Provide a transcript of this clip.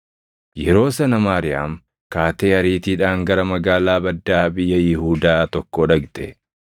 Yeroo sana Maariyaam kaatee ariitiidhaan gara magaalaa baddaa biyya Yihuudaa tokkoo dhaqxe.